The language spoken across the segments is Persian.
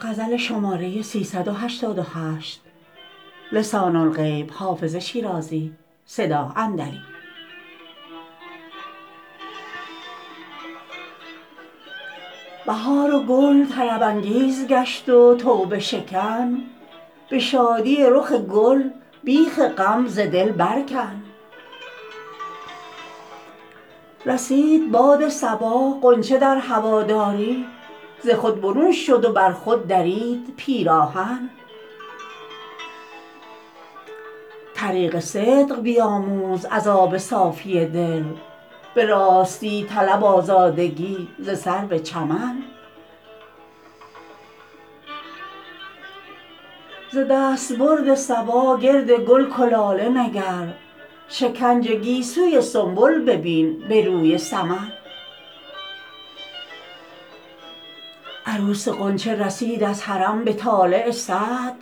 بهار و گل طرب انگیز گشت و توبه شکن به شادی رخ گل بیخ غم ز دل بر کن رسید باد صبا غنچه در هواداری ز خود برون شد و بر خود درید پیراهن طریق صدق بیاموز از آب صافی دل به راستی طلب آزادگی ز سرو چمن ز دستبرد صبا گرد گل کلاله نگر شکنج گیسوی سنبل ببین به روی سمن عروس غنچه رسید از حرم به طالع سعد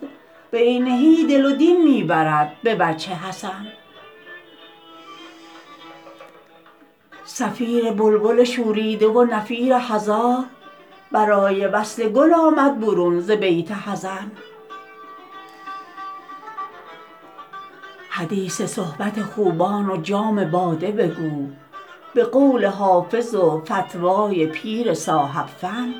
بعینه دل و دین می برد به وجه حسن صفیر بلبل شوریده و نفیر هزار برای وصل گل آمد برون ز بیت حزن حدیث صحبت خوبان و جام باده بگو به قول حافظ و فتوی پیر صاحب فن